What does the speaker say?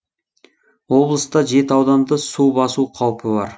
облыста жеті ауданды су басу қаупі бар